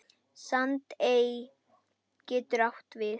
Sandey getur átt við